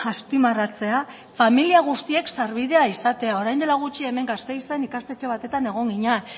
azpimarratzea familia guztiek sarbidea izatea orain dela gutxi hemen gasteizen ikastetxe batean egon ginen